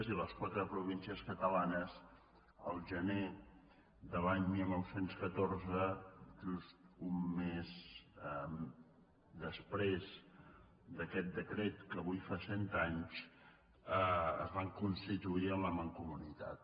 i les quatre províncies catalanes el gener del dinou deu quatre just un mes després d’aquest decret que avui fa cent anys es van constituir en la mancomunitat